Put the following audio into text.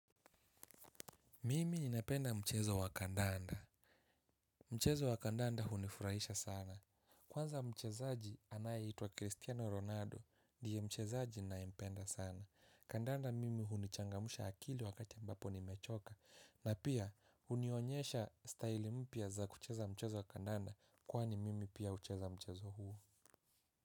Mimi napenda mchezo wa kandanda. Mchezo wa kandanda hunifurahisha sana. Kwanza mchezaji anayeitwa Cristiano Ronaldo ndiye mchezaji naye mpenda sana. Kandanda mimi hunichangamsha akili wakati ambapo nimechoka. Na pia hunionyesha staili mpya za kucheza mchezo wa kandanda kwani mimi pia hucheza mchezo huu.